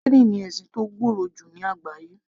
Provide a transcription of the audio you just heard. Krìstẹ́nì ni ẹ̀sìn tó gbòòrò jù ní àgbáyé